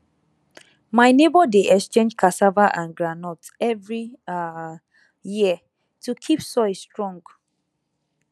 my neighbour dey exchange cassava and groundnut every um year to keep soil strong